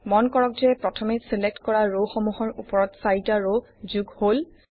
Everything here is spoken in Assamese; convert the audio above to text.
মন কৰক যে প্ৰথমে ছিলেক্ট কৰা ৰসমূহৰ উপৰত চাৰিটা ৰ যোগ হল